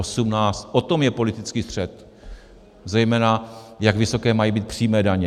O tom je politický střet, zejména jak vysoké mají být přímé daně.